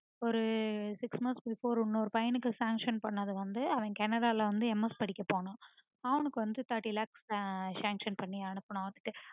ஒரு six months before ஒரு பையனுக்கு sanction பண்ணது வந்துட்டு அவன் canada ல வந்து MS படிக்கப்போனான். அவனுக்கு thirty lakhs sanction பண்ணி அனுப்புனோம்